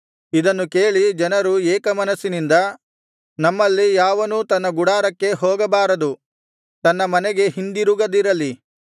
ಇದನ್ನು ಕೇಳಿ ಜನರು ಏಕಮನಸ್ಸಿನಿಂದ ನಮ್ಮಲ್ಲಿ ಯಾವನೂ ತನ್ನ ಗುಡಾರಕ್ಕೆ ಹೋಗಬಾರದು ತನ್ನ ಮನೆಗೆ ಹಿಂದಿರುಗದಿರಲಿ